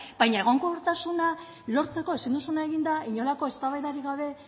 baina egonkortasuna lortzeko ezin duzuna egin da inolako eztabaidarik gabe